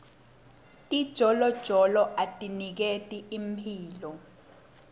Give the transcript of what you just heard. tijolojolo atiniketi imphilo